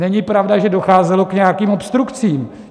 Není pravda, že docházelo k nějakým obstrukcím.